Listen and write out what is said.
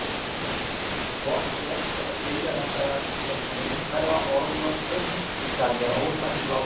Hvort rétt er að skilja þetta sem myndhverfa orðnotkun skal hér ósagt látið.